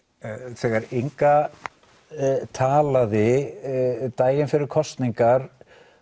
þegar Inga talaði daginn fyrir kosningar